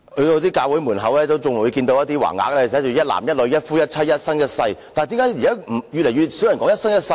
在一些教會門前，仍能看見有橫額寫着"一男一女，一夫一妻，一生一世"，但是為甚麼現在越來越少人說"一生一世"？